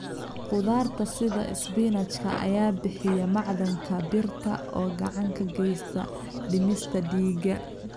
Khudaarta sida isbinaajka ayaa bixiya macdanta birta oo gacan ka geysata dhismaha dhiiga.